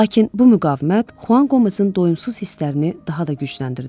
Lakin bu müqavimət Xuan Qomezin doyumsuz hisslərini daha da gücləndirdi.